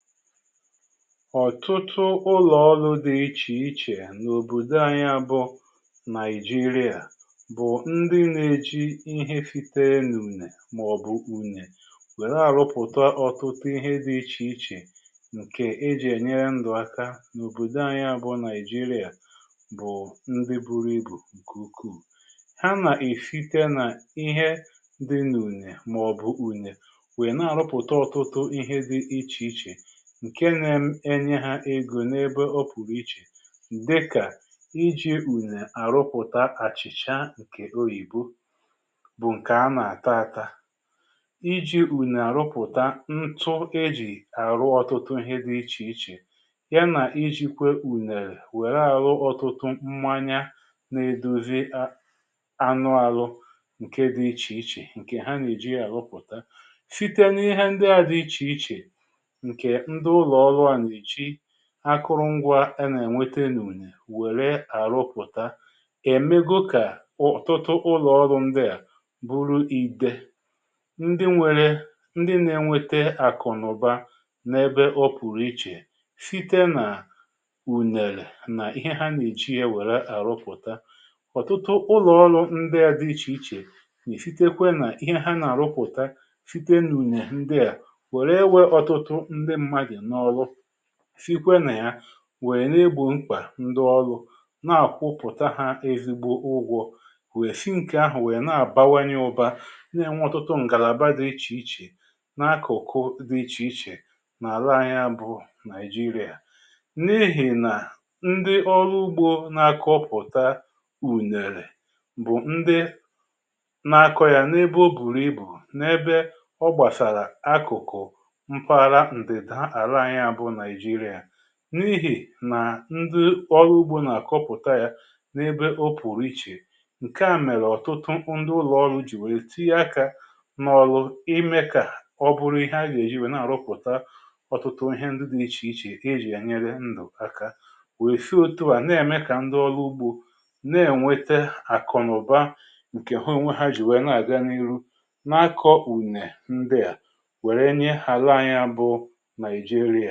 Ọ̀tụtụ ụlọ̀ọlụ dị iche iche n’òbòdo anyị a, bụ Naijiria, bụ̀ ndị na-eji ihe siiterem n’ùnè màọ̀bụ̀ unyè wèrè àrụpụ̀ta ọ̀tụtụ ihe dị iche iche, nke e ji ènyere ndụ̀ aka n’òbòdo anyị a, bụ̀ Naijiria, bụ̀ ndị buru ibù nke ukwu. Ha nà-èsite nà ihe dị n’ùnè màọ̀bụ̀ ùnè, wèe na-àrụpụ̀ta ọtụtụ ihe dị iche iche, nke eme na-enye ha egȯ n’ebe ọ pụ̀rụ̀ iche, dịkà iji ùnè àrụpụ̀ta àchị̀chà, nke oyìbo, bụ̀ nke a nà-àta ata; iji ùnè àrụpụ̀ta ntụ, e jì àrụ ọtụtụ ihe dị iche iche; ya nà iji̇ kwė ùnèrè wèrè àhụ ọtụtụ mmanya, nà-edozi anụàlụ, nke dị̇ iche iche, nke ha nà-èji àrụpụ̀ta. Site n’ihe ndị a dị iche iche, nke ndị ụlọ ọrụ a na-eji akụrụngwȧ a nà-ènweta n’ùnè wère àrụpụ̀ta, èmego kà ọ̀tụ̀tụ̀ ụlọ̀ọdụ ndị à, buru ìdè ndị nwèrè ndị na-enwėtė àkụ̀nụ̀ba n’ebe ọ pụ̀rụ̀ iche site nà ùnèrè nà ihe ha nà-eji ya wèrè àrụpụ̀ta. Ọ̀tụtụ ụlọ̀ọlụ̇ ndị a dị iche iche, nà-èsitekwa nà ihe ha nà-àrụpụ̀ta site n’ùnyè ndị à, wèe na-ewè ọtụtụ ndị mmadụ na ọrụ, sikwa nà ya, wèe na-egbò mkpà ndị ọlụ̇, nà-àkwụpụ̀ta ha ezigbo ụgwọ̇, wèe si n’kè ahụ̀ wèe na-àbawanye ụbȧ. N’enwe ọtụtụ ngàlàba dị̀ iche iche, na-akụ̀kụ dị iche iche n’àra anyị, bụ Naijiria, n’ihì nà ndị ọrụ ugbo, na-akọ̇ pụ̀ta ùnèrè, bụ̀ ndị na-akọ̇ yà n’ebe ọ bùrù ibù, n’ebe ọ gbàsàrà akụ̀kụ̀ mpaghara ndida ala anyị, bụ Naijiria. N’ihì nà ndị ọlụ ugbo nà-àkọpụ̀ta yà n’ebe o pùrù iche, nke à mèrè ọ̀tụtụ ndị ụlọ̀ọlụ̇ jì nwèe, tinye akȧ n’ọlụ ime, kà ọ bụrụ ihe a gà-èji nwèe, na-àrụpụ̀ta ọtụtụ ihe ndị dị̇ iche iche, e jì enyere ndụ̀ aka, wèe sị otu à na-ème kà ndị ọlụ ugbo, na-ènwete àkụ̀naụ̀ba, nke ha onwe ha jì nwèe, na-àga n’ihu na-akọ ùnè ndịà, wèrè nyee ala anyị, bụ Naijiria.